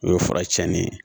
O ye fura cɛnni ye